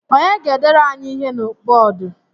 Onye ga-edere anyị ihe na bọọdụ?